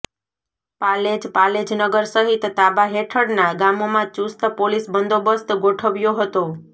પાલેજઃ પાલેજ નગર સહિત તાબા હેઠળના ગામોમાં ચુસ્ત પોલીસ બંદોબસ્ત ગોઠવ્યો હતો